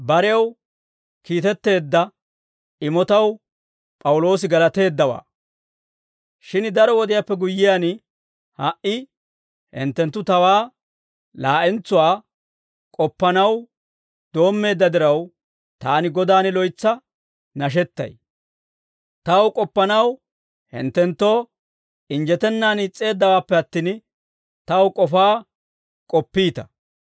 Shin daro wodiyaappe guyyiyaan, ha"i hinttenttu tawaa laa'entsuwaa k'oppanaw doommeedda diraw, taani Godan loytsa nashettay; taw k'oppanaw hinttenttoo injjetennan is's'eeddawaappe attin, taw k'ofaa k'oppiita.